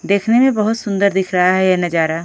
देखने में बहुत सुंदर दिख रहा है यह नजारा।